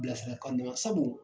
Bilasirakan mɛna sabu